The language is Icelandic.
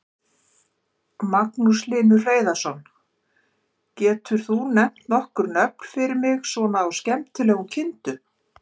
Magnús Hlynur Hreiðarsson: Getur þú nefnt nokkur nöfn fyrir mig svona á skemmtilegum kindum?